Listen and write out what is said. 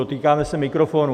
Dotýkáme se mikrofonů.